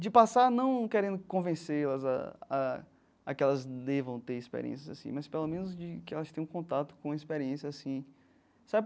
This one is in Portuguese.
De passar não querendo convencê-las a a a que elas devam ter experiências assim, mas pelo menos de que elas tenham contato com a experiência assim sabe.